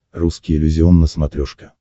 русский иллюзион на смотрешке